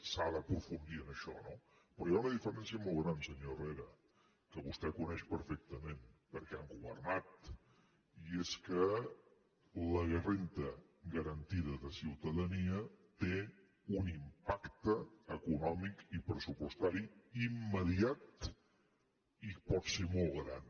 s’ha d’aprofundir en això no però hi ha una diferència molt gran senyor herrera que vostè coneix perfectament perquè han governat i és que la renda garantida de ciutadania té un impacte econòmic i pressupostari immediat i pot ser molt gran